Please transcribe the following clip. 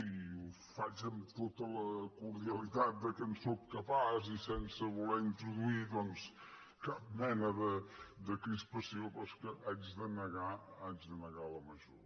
i ho faig amb tota la cordialitat de què sóc capaç i sense voler introduir doncs cap mena de crispació però és que haig de negar la major